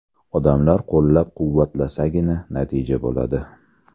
Odamlar qo‘llab-quvvatlasagina, natija bo‘ladi.